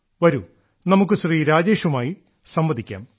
വരൂ നമുക്ക് ശ്രീ രാജേഷുമായി സംവദിക്കാം